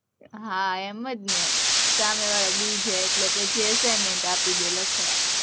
હા, એમ જ ને, સામેવાળા બી જાય એટલે પછી assignment આપી દે લખવા